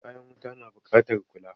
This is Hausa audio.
Kayan wuta na buƙatar kula.